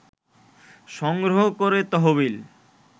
সংগ্রহ করে তহবিল